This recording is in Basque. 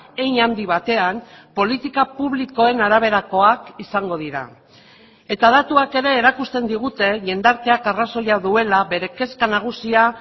hein handi batean politika publikoen araberakoak izango dira eta datuak ere erakusten digute jendarteak arrazoia duela bere kezka nagusia